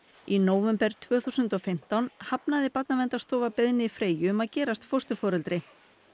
í nóvember tvö þúsund og fimmtán hafnaði Barnaverndarstofa beiðni Freyju um að gerast fósturforeldri